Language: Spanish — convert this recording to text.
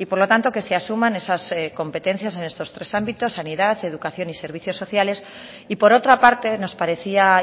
y por lo tanto que se asuman esas competencias en estos tres ámbitos sanidad educación y servicios sociales y por otra parte nos parecía